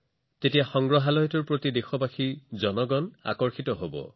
এইটোৱে সমগ্ৰ দেশৰ মানুহৰ মাজত সংগ্ৰহালয়টোৰ প্ৰতি আগ্ৰহ অধিক বৃদ্ধি কৰিব